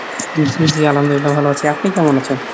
জি জি আলহামদুলিল্লাহ ভালো আছি। আপনি কেমন আছেন ?